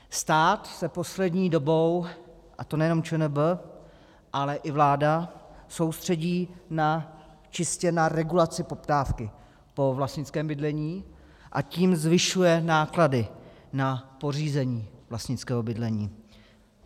Stát se poslední dobou, a to nejenom ČNB, ale i vláda soustředí čistě na regulaci poptávky po vlastnickém bydlení, a tím zvyšuje náklady na pořízení vlastnického bydlení.